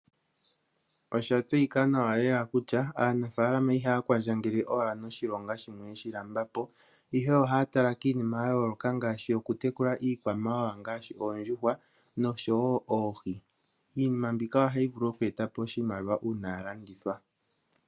Osha tseyika nawa lela kutya aanafalama ihaya kwandjangele wala noshilonga shimwe yeshi lambapo, ihe ohaya tala kiinima ya yooloka ngashi, oku tekula iikwamawawa ngashi oondjuhwa osho wo oohi. Iinima mbika ohayi vulu oku etapo oshimaliwa uuna ya landithwa.